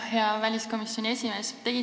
Hea väliskomisjoni esimees!